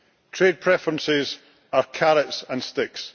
Trade preferences are carrots and sticks.